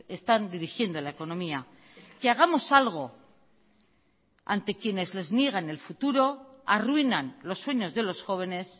están dirigiendo la economía que hagamos algo ante quienes les niegan el futuro arruinan los sueños de los jóvenes